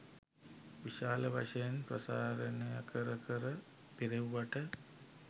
විශාල වශයෙන් ප්‍රසාරණය කර කර පිරෙව්වට